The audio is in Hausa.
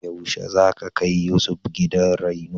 Yaushe za ka kai Yusuf gidan reno?